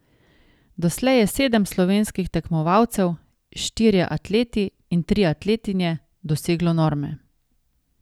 Doslej je sedem slovenskih tekmovalcev, štirje atleti in tri atletinje, doseglo norme.